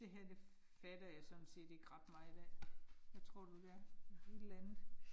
Det her det fatter jeg sådan set ikke ret meget af. Hvad tror du det er? Et eller andet